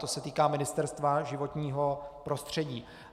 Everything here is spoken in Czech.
To se týká Ministerstva životního prostředí.